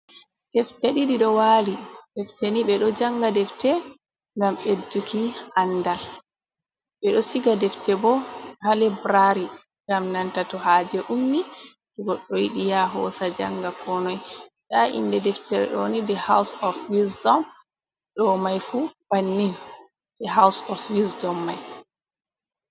Defte ɗiɗi ɗo wali. Defteni ɓe ɗo janga defte ngam ɓedduki andal. Ɓeɗo siga defte bo ha library ngam nanta to haje ummi to goɗɗo yiɗi ya hosa janga konoi. Nda inde deftere ɗoni "the house of wisdom" ɗo mai fu bannin the house of wisdom mai.